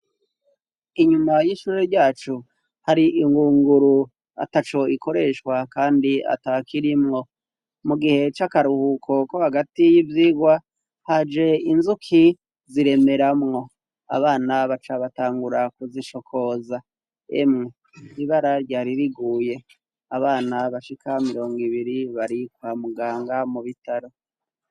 Inyuma y'ishuri ryacu hari ingunguru ataco ikoreshwa kandi atakirimwo, mu gihe c'akaruhuko ko hagati y'ivyigwa haje inzuki ziremeramwo, abana baca batangura kuzicokoza. Emwe ibara ryari riguye abana bashika mirongo ibiri barikwa muganga mu bitaro.